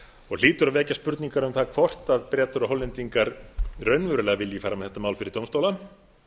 og hlýtur að vekja spurningar um það hvort bretar og hollendingar vilji raunverulega fara með þetta mál fyrir dómstóla